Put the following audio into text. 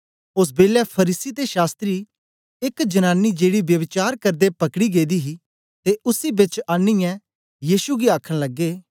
ओस बेलै फरीसी ते शास्त्री एक जनानी गी जेड़ी ब्यभिचार करदे पकडी गेदी ही ते उसी बेच आनीयै यीशु गी आखन लगे